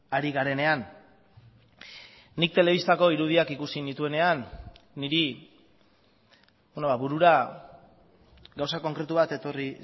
ari garenean nik telebistako irudiak ikusi nituenean niri burura gauza konkretu bat etorri